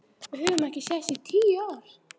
Við höfum ekki sést í tíu ár.